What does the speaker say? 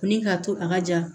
Ni k'a to a ka ja